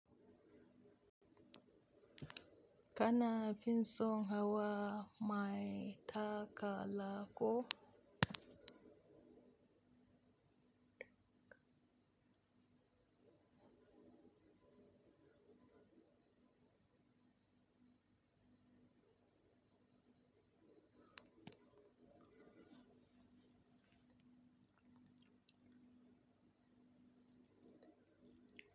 Kana fiinso hawa mai takala ko?